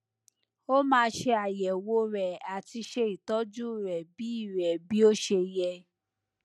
o ma se ayewo re ati se itoju re bi re bi o se ye